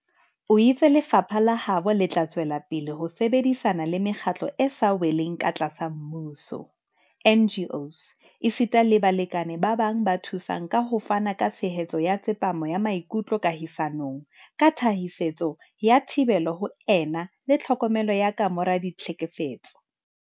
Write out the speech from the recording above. O itse lefapha la habo le tla tswelapele ho sebedisana le Mekgatlo e sa Weleng Katlasa Mmuso, NGOs, esita le balekane ba bang ba thusang ka ho fana ka tshehetso ya tsepamo ya maikutlo kahisanong, ka thasisetso ya thibelo ho ena le tlhokomelo ya kamora ditlhe kefetso.